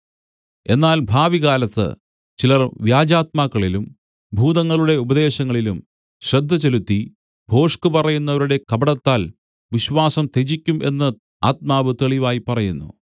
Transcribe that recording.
എന്നാൽ ഭാവികാലത്ത് ചിലർ വ്യാജാത്മാക്കളിലും ഭൂതങ്ങളുടെ ഉപദേശങ്ങളിലും ശ്രദ്ധ ചെലുത്തി ഭോഷ്ക് പറയുന്നവരുടെ കപടത്താൽ വിശ്വാസം ത്യജിക്കും എന്ന് ആത്മാവ് തെളിവായി പറയുന്നു